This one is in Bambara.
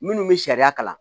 Minnu bɛ sariya kalan